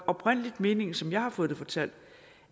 oprindelig meningen som jeg har fået det fortalt